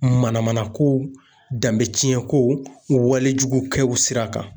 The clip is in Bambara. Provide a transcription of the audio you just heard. Mana mana kow, danbɛ cɛn ko , wale jugukɛw sira kan.